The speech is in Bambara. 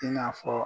I n'a fɔ